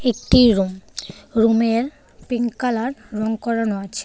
একটি রুম রুমের pink colour রং করানো আছে.